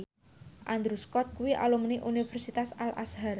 Andrew Scott kuwi alumni Universitas Al Azhar